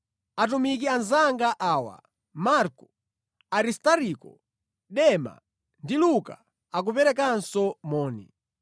Atumiki anzanga awa, Marko, Aristariko, Dema ndi Luka, akuperekanso moni.